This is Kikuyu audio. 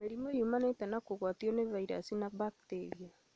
Mĩrimũ yumanĩte na kũgwatio nĩ virus na bacteria